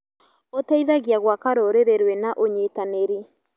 Ũteithagia gwaka rũrĩrĩ rwĩna ũnyitanĩri.